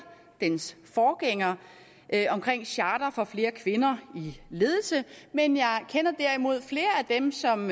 dens forgænger charter for flere kvinder i ledelse men jeg kender derimod flere af dem som